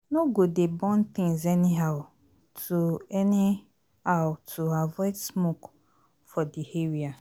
No go dey burn things anyhow to anyhow to avoid smoke for di area